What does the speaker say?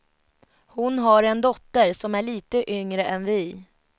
Hon har en dotter som är lite yngre än vi.